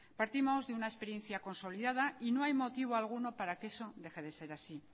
partimos de una experiencia consolidada y no hay motivo alguno para que eso deje de ser así